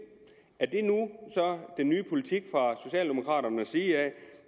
den nye politik fra socialdemokraternes side